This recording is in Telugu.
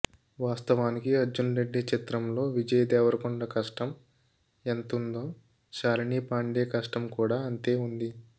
వాస్తవానికి అర్జున్ రెడ్డి చిత్రంలో విజయ్ దేవరకొండ కష్టం ఎంతుందో షాలిని పాండే కష్టం కూడా అంతే ఉంది